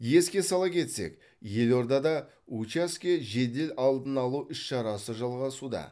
еске сала кетсек елордада учаске жедел алдын алу іс шарасы жалғасуда